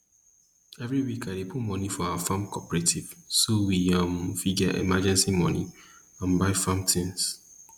every week i dey put money for our farm cooperative so we um fit get emergency money and buy farm tings